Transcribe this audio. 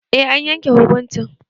Eh an yanke hukuncin